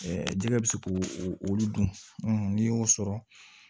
jɛgɛ bɛ se k'o olu dun n'i y'o sɔrɔ